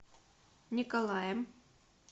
николаем